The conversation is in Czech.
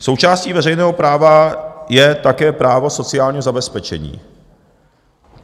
Součástí veřejného práva je také právo sociálního zabezpečení.